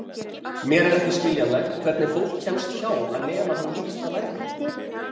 Mér er ekki skiljanlegt hvernig fólk kemst hjá að nema þann litla lærdóm.